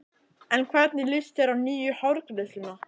En hvernig líst þér á nýju hárgreiðsluna?